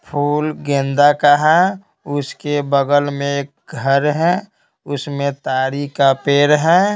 फूल गेंदा का है उसके बगल में एक घर है उसमें तारी का पेड़ है।